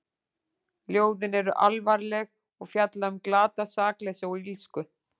Ljóðin eru alvarleg og fjalla um glatað sakleysi og illsku.